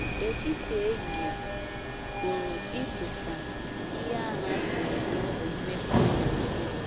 ‘ Etiti ehihie ’ pụrụ ịpụta ihe ahụ a sịrị na ọ bụ mmepeanya nke ụwa.